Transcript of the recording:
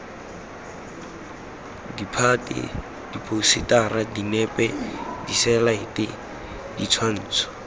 ditphate diphousetara dinepe diselaete ditshwantsho